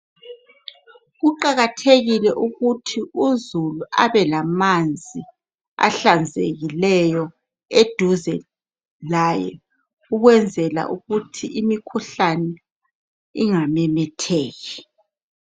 Kuqakathekile ukuthi uzulu abelamanzi ahlanzekileyo eduze laye ukwenzela ukuthi imikhuhlane ingamemetheki.